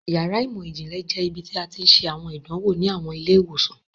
Yàrá imọ-jinlẹ jẹ ibiti a ti n ṣe awọn idanwo ni awọn ile-iwosan.